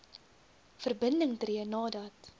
verbinding tree nadat